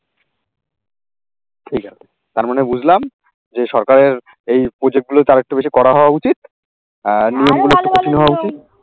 ঠিক আছে, তার মানে বুঝলাম যে সরকারের এই প্রজেক্টগুলোতে আরেকটু বেশি করা হয় উচিত। আর